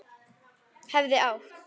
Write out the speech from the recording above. Hefði átt